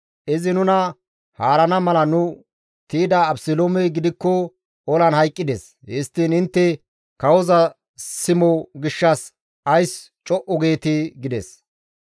Izi nuna haarana mala nu tiyda Abeseloomey gidikko olan hayqqides. Histtiin intte kawoza simo gishshas ays co7u geetii?» gides.